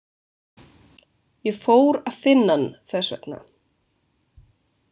Ég fór að finna hann þess vegna.